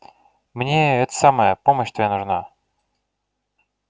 мне это самое помощь твоя нужна